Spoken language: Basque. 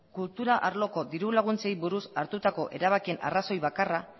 kultura arloko diru laguntzeei buruz hartutako erabakien arrazoi bakarra